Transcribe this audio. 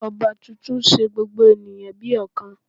Ọba tuntun n se gbogbo ènìyàn bí ọ̀kan